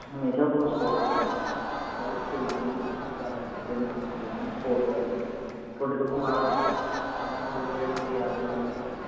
ਹਮੇਸ਼ਾ ਥੋਨੂੰ support ਕਰਨਗੇ ਬਾਈ ਕੋਈ ਗੱਲ ਨਹੀਂ ਕਰ ਤੇਰੇ ਨਾਲ ਆਂ ਵੀਰੇ ਹਣਾ support ਕਰਦੇ ਥੋਡੇ ਤੋਂ ਕੋਈ ਮਾੜਾ ਕੌਣ ਖੜੂਗਾ ਜਿਹੜੇ ਥੋਡੇ ਯਾਰ ਬੇਲੀ ਹੋਣਗੇ